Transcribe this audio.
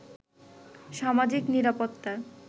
সামাজিক নিরাপত্তার